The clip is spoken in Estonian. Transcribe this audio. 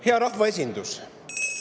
Hea rahvaesindus!